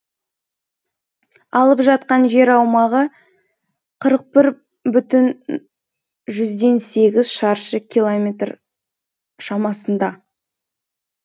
алып жатқан жер аумағы қырық бір бүтін жұзден сегіз шаршы километр шамасында